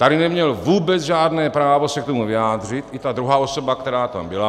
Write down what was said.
Tady neměl vůbec žádné právo se k tomu vyjádřit, i ta druhá osoba, která tam byla.